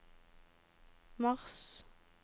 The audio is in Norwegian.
mars